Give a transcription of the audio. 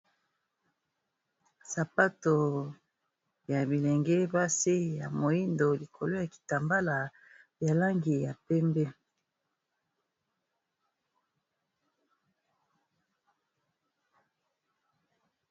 sapato ya bilenge basi ya moindo likolo ya kitambala yalangi ya pembe